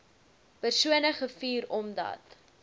persone gevuur omdat